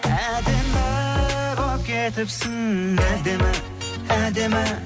әдемі болып кетіпсің әдемі әдемі